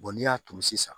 n'i y'a turu sisan